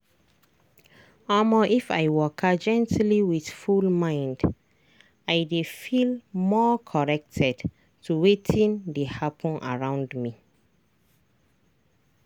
omo if i waka gently with full mind i dey feel more connected to wetin dey happen around me.